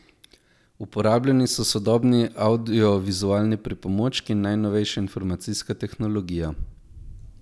Uporabljeni so sodobni avdiovizualni pripomočki in najnovejša informacijska tehnologija.